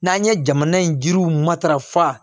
N'an ye jamana in jiriw matarafa